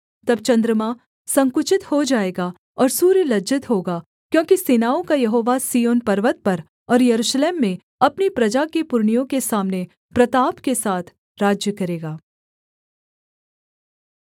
तब चन्द्रमा संकुचित हो जाएगा और सूर्य लज्जित होगा क्योंकि सेनाओं का यहोवा सिय्योन पर्वत पर और यरूशलेम में अपनी प्रजा के पुरनियों के सामने प्रताप के साथ राज्य करेगा